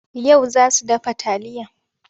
Yau za su dafa taliya.